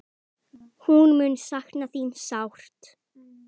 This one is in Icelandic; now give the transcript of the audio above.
Hún mun sakna þín sárt.